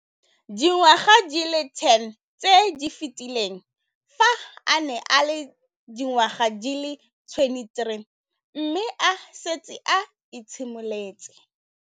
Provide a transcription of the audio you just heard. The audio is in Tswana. Dingwaga di le 10 tse di fetileng, fa a ne a le dingwaga di le 23 mme a setse a itshimoletse.